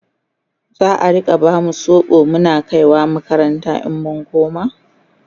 za'a Rika bamu sobo Muna kaiwa makaranta in mun koma?